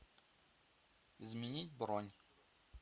изменить бронь